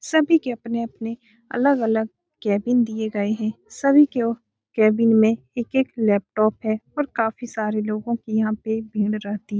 सभी के अपने-अपने अलग-अलग केबिन दिए गए है सभी के केबिन में एक-एक लैपटॉप है और काफी सारे लोगो की यहाँ पे भीड़ रहती हैं ।